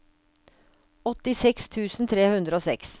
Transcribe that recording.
åttiseks tusen tre hundre og seks